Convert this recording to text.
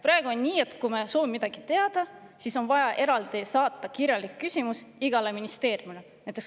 Praegu on nii, et kui me soovime midagi teada, siis on vaja saata kirjalik küsimus eraldi igale ministeeriumile.